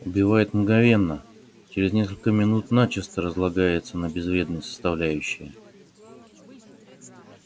убивает мгновенно через несколько минут начисто разлагается на безвредные составляющие